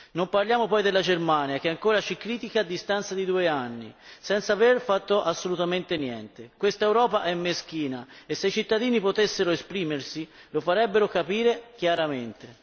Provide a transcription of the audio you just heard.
Non parliamo poi della Germania che ancora ci critica a distanza di due anni senza aver fatto assolutamente niente. Quest'Europa è meschina e se i cittadini potessero esprimersi lo farebbero capire chiaramente.